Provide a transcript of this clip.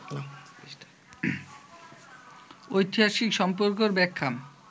ঐতিহাসিক সম্পর্কের ব্যাখ্যা